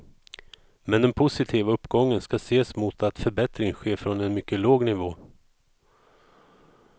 Men den positiva uppgången ska ses mot att förbättringen sker från en mycket låg nivå.